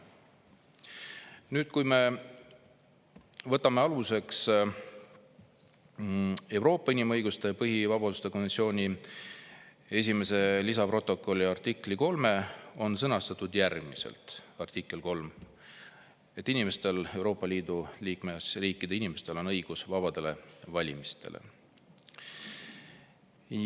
Nüüd, kui me võtame aluseks Euroopa inimõiguste ja põhivabaduste konventsiooni esimese lisaprotokolli artikli 3, siis selles on öeldud, et Euroopa Liidu liikmesriikide inimestel on õigus vabadele valimistele.